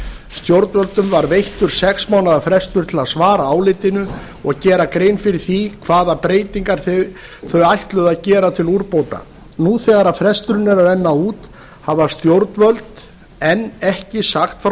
stjórnvöldum var veittur sex mánaða frestur til að svara álitinu og gera grein fyrir því hvaða breytingar þau ætluðu að gera til úrbóta nú þegar fresturinn er að renna út hafa stjórnvöld enn ekki sagt frá